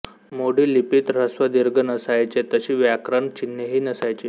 मोडी लिपीत ऱ्हस्वदीर्घ नसायचे तशी व्याकरण चिन्हेही नसायची